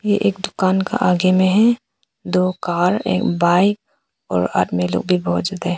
एक दुकान के आगे में हैं दो कार एक बाइक और आदमी लोग भी बहुत ज्यादा हैं।